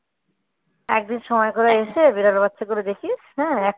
একদিন সময় করে এসে বিড়াল বাচ্চাগুলো দেখিস হ্যাঁ